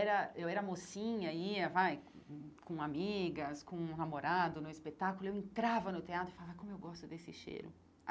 Eu era mocinha, ia vai hum com amigas, com namorado no espetáculo, eu entrava no teatro e falava, como eu gosto desse cheiro.